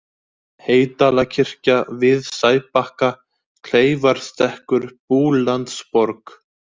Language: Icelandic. Heydalakirkja, Við Sæbakka, Kleifarstekkur, Búlandsborg